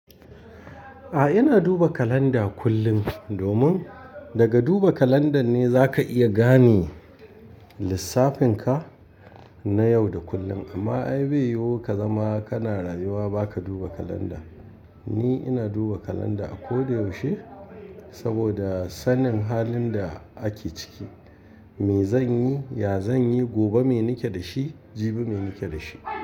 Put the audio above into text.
A'a, ina duba kalanda kullum domin daga duba kalandar ne za ka iya gane lissafin ka na yau da kullum. Amma ai beyo ka zama kana rayuwa ba ka duba kalanda. Ni ina duba kalanda a ko da yaushe saboda sanin halin da ake ciki. Me zanyi, ya zanyi, gobe me nike da shi, jibi me nike da shi.